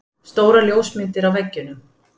Stórar ljósmyndir á veggjunum.